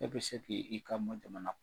E bi se ki i kan bɔ jamana